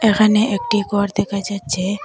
এখানে একটি ঘর দেখা যাচ্ছে।